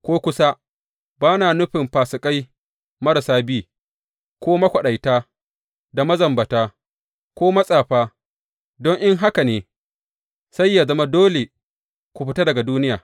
Ko kusa, ba na nufin fasikai marasa bi, ko makwaɗaita da mazambata, ko matsafa, don in haka ne, sai yă zama dole ku fita daga duniya.